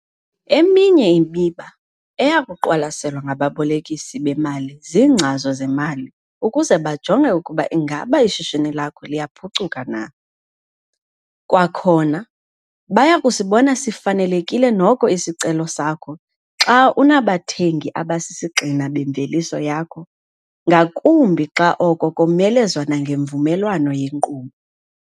Eminye imiba eya kuqwalaselwa ngababolekisi bemali ziingcazo zemali ukuze bajonge ukuba ingaba ishishini lakho liyaphucuka na. Kwakhona, baya kusibona sifanelekile noko isicelo sakho xa unabathengti abasisigxina bemveliso yakho, ngakumbi xa oko komelezwa nangemvumelwano yenkqubo.